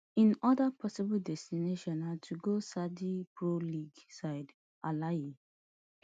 im oda possible destination na to go saudi pro league side alahli